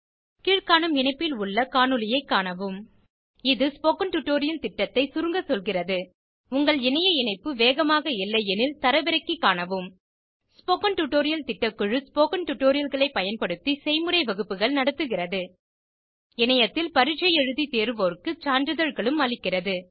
கீழ்காணும் இணைப்பில் உள்ள காணொளியைக் காணவும் இது ஸ்போகன் டுடோரியல் திட்டத்தை சுருங்க சொல்கிறது உங்கள் இணைய இணைப்பு வேகமாக இல்லையெனில் தரவிறக்கி காணவும் ஸ்போகன் டுடோரியர் திட்டக்குழு ஸ்போகன் டுடோரியல்களை பயன்படுத்தி செய்முறை வகுப்புகள் நடத்துகிறது இணையத்தில் பரீட்சை எழுதி தேர்வோருக்கு சான்றிதழ்களும் அளிக்கிறது